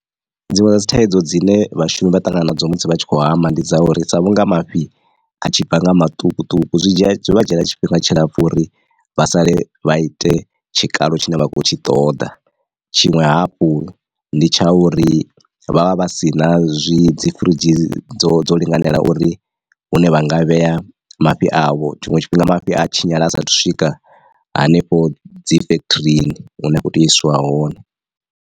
Dziṅwe dza dzi thaidzo dzine vhashumi vha ṱangana nadzo musi vha tshi khou hama ndi dza uri sa vhunga mafhi a tshi bva nga maṱukuṱuku zwi dzhia vha dzhiela tshifhinga tshilapfu uri vha sale vha ite tshikalo tshine vha khou tshi ṱoḓa. Tshiṅwe hafhu ndi tsha uri vha vha vha si na zwi dzi firidzhi dzo dzo linganelaho uri hune vha nga vhea mafhi avho, tshiṅwe tshifhinga mafhi a tshinyala asathu swika hanefho dzi factory hune a khou tea u isiwa hone.